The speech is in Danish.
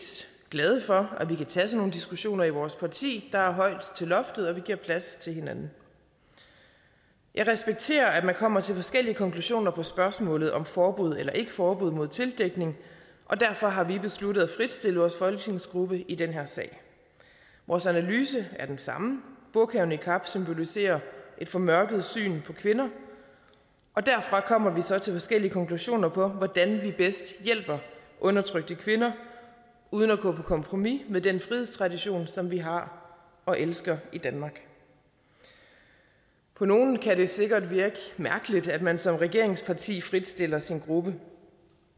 glade for at vi kan tage sådan nogle diskussioner i vores parti der er højt til loftet og vi giver plads til hinanden jeg respekterer at man kommer til forskellige konklusioner på spørgsmålet om forbud eller ikke forbud mod tildækning og derfor har vi besluttet at fritstille vores folketingsgruppe i den her sag vores analyse er den samme burka og niqab symboliserer et formørket syn på kvinder og derfra kommer vi så til forskellige konklusioner på hvordan vi bedst hjælper undertrykte kvinder uden at gå på kompromis med den frihedstradition som vi har og elsker i danmark på nogle kan det sikkert virke mærkeligt at man som regeringsparti fritstiller sin gruppe